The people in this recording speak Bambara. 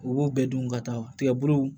U b'u bɛɛ dun ka taa tigɛ bulu